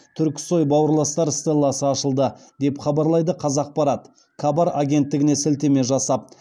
түрксой бауырластар стелласы ашылды деп хабарлайды қазақпарат кабар агенттігіне сілтеме жасап